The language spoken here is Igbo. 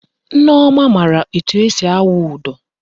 Nneọma maara etu esi awụ ụdọ